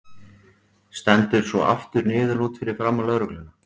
Stendur svo aftur niðurlút fyrir framan lögregluna.